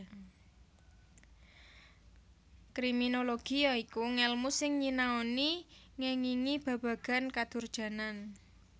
Kriminologi ya iku ngèlmu sing nyianoni ngèngingi babagan kadurjanan